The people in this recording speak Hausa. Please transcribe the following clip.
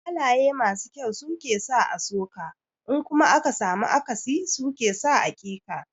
Halaye masu kyau su ke sa a so ka in kuma aka samu akasi su ke sa a ƙi ka.